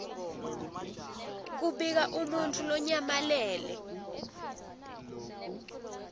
kubika umuntfu lonyamalele